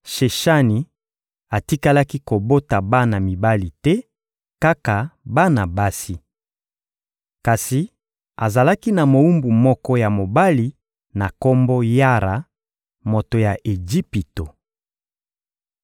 Sheshani atikalaki kobota bana mibali te, kaka bana basi. Kasi azalaki na mowumbu moko ya mobali na kombo Yara, moto ya Ejipito.